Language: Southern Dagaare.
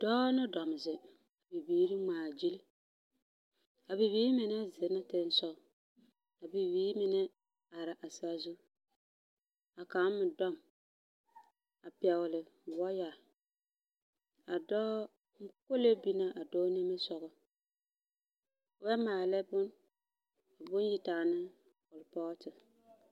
dɔɔ no dam zeŋ ka bib iiri ŋmaa gyili, a bibiiri mine zena tensɔge a bibiiri mine ara sazu a kaŋ me dɔb a pɛgele wɔɔya. A dɔɔ, kolee bina a dɔɔ nimisɔgɔ. bɛ maalɛ bon… bon yitaa ne kerepɔɔte.